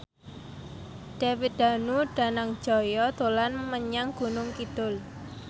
David Danu Danangjaya dolan menyang Gunung Kidul